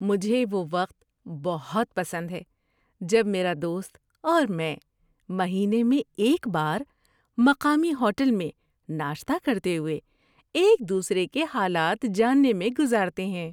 مجھے وہ وقت بہت پسند ہے جب میرا دوست اور میں مہینے میں ایک بار مقامی ہوٹل میں ناشتہ کرتے ہوئے ایک دوسرے کے حالات جاننے میں گزارتے ہیں۔